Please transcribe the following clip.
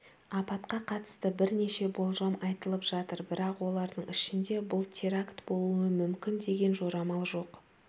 апатқа қатысты бірнеше болжам айтылып жатыр бірақ олардың ішінде бұл теракт болуы мүмкін деген жорамал жоқ